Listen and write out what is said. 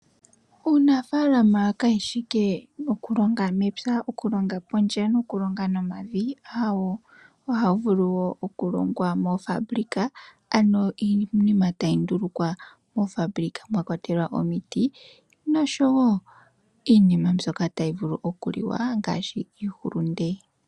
Uunafaalama kawu shi wala okulonga mepya ,okulonga pondje aayeh ohawu vulu wo okulongwa pondje mwakwatelwa moofabulika ano iinima tayi ndulukwa noshowo iinima mbyoka tayi vulu okuliwa ngaashi iihulunde.